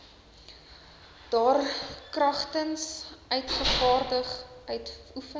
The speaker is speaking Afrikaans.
daarkragtens uitgevaardig uitoefen